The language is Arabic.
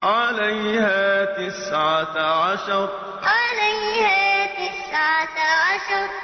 عَلَيْهَا تِسْعَةَ عَشَرَ عَلَيْهَا تِسْعَةَ عَشَرَ